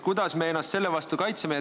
Kuidas me ennast selle vastu kaitseme?